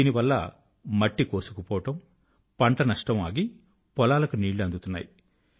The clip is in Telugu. దీనివల్ల మట్టి కోసుకుపోవడం పంట నష్టం ఆగి పొలాలకు నీళ్ళు అందుతున్నాయి